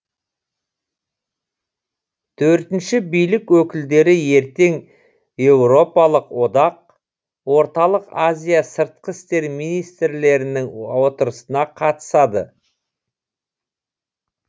төртінші билік өкілдері ертең еуропалық одақ орталық азия сыртқы істер министрлерінің отырысына қатысады